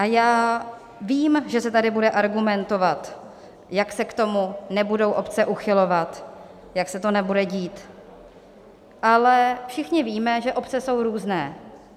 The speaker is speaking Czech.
A já vím, že se tady bude argumentovat, jak se k tomu nebudou obce uchylovat, jak se to nebude dít, ale všichni víme, že obce jsou různé.